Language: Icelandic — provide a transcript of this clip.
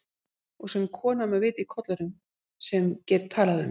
Og sem kona með vit í kollinum, sem get talað um